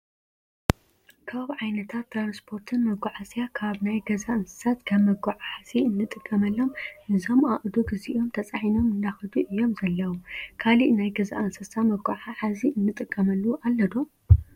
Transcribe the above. ካብ ዓይነታት ትራንስፖርትን መጉዓዝያ ካብ ናይ ገዛ እንስሳት ከም መጉዓዓዚ እንጥቀመሉም እዞም ኣእዱግ እዚኦም ተፃዒኖም እንዳከዱ እዮም ዘለው። ካሊእ ናይ ገዛ እንስሳ መጉዓዓዚ እንጥቀመሉ ኣሎ ዶ?